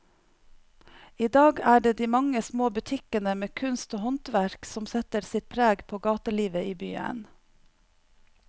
I dag er det de mange små butikkene med kunst og håndverk som setter sitt preg på gatelivet i byen.